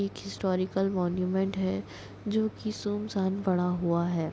एक historical monument है जोकि सुनशान पड़ा हुआ हैं।